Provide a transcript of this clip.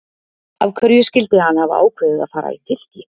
Af hverju skyldi hann hafa ákveðið að fara í Fylki?